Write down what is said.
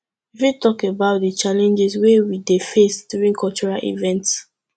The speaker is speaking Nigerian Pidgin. you fit talk about di challenges wey we dey face during cultural events